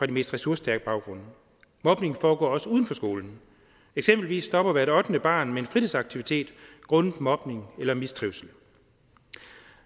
de mest ressourcestærke baggrunde mobning foregår også uden for skolen eksempelvis stopper hvert ottende barn med en fritidsaktivitet grundet mobning eller mistrivsel